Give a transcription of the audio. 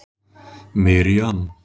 Miriam